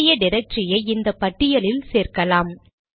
வேண்டிய டிரக்டரியை இந்த பட்டியலில் சேர்க்கலாம்